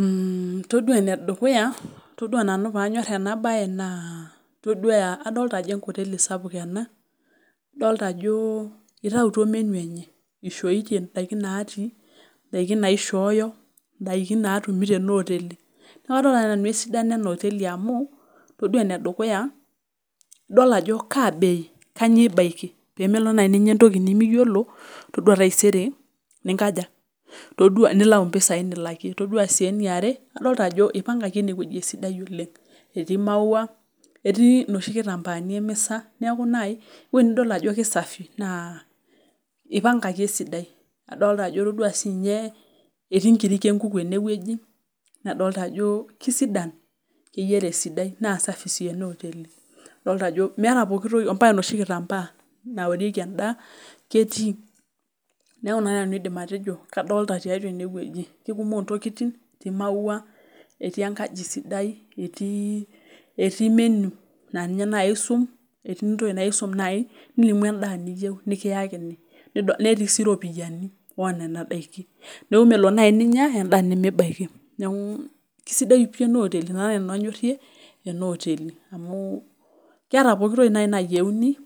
Mmh todua ene dukuya paanyor ena baye adolita ajo enkoteli sapuk ena adolita ah eitayu menu eishootie indaiki naatii indaiki naaishooyo naa kanyor nanu ena oteli amu todua ene dukuya idol ajo kaa bei kanyioo ibaiki paa ore taisere nimenkaja nimilau impisai nilakie adolita ajo eipankaki enewueji etii maua etii nkitambaani emisa neeeku naaji ewueji nidol ajo keisafi eipangaki esidai etii inkirik enkuku ene adolita ajo isidan keyiara esidai naa safi sii enaa oteli ombaka enoshi kitambaa naorieki endaa ketii neeku ina nanu aidim atejo keikumok intokitin tiatua ene wueji ketii imaua etii enkaji siadai etii menu endaa nikiyakini netii sii iropiyiani neeku melo naaji ninya endaa nimibaiki ina naaji nanu anyorie ena oteli keeta pooki toki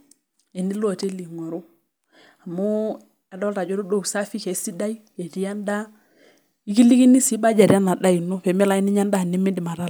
tenilo aing'oru amu adolita ajo ore usafi keisidai etii endaa ekilikini sii budget ena daa ino peemilo ake ninyia endaa nemindiim atalaa.